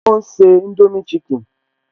Ó ń se indomie chicken